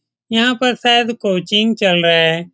यहाँ पर शायद कोचिंग चल रहा है।